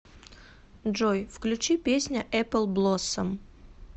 джой включи песня эппл блоссом